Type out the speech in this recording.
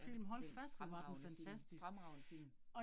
Ja, det en fremragende film, fremragende film